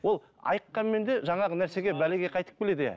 ол айыққанмен де жаңағы нәрсеге бәлеге қайтып келеді иә